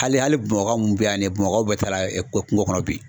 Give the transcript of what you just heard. Hali hali Bamakɔ mun bɛ yan ni ye Bamakɔkaw bɛɛ taara kungo kɔnɔ bi.